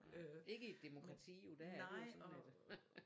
Ikke i et demokrati jo der er det jo sådan